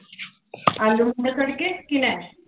ਆਲੂ ਮਟਰ ਤੜਕੇ, ਕਿਹਨੇ?